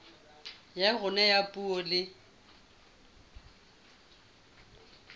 ya rona ya puo le